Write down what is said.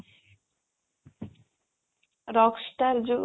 rockstar ଯୋଉ